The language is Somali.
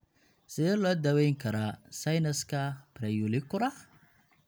Sidee loo daweyn karaa sinuska preauricular?